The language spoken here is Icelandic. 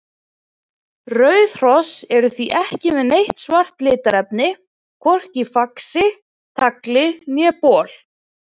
Rauð hross eru því ekki með neitt svart litarefni, hvorki í faxi, tagli né bol.